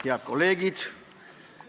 Head kolleegid!